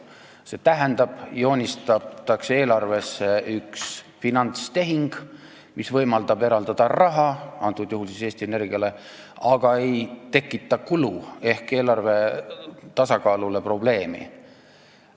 See tähendab, et eelarvesse joonistatakse üks finantstehing, mis võimaldab eraldada raha, antud juhul Eesti Energiale, aga ei tekita kulu ehk eelarve tasakaalule probleemi.